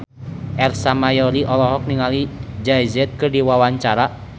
Ersa Mayori olohok ningali Jay Z keur diwawancara